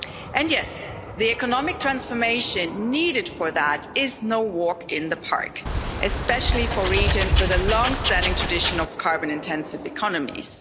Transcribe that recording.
And yes, the economic transformation needed for that is no walk in the park, especially for regions with a long standing tradition of carbon intensive economies.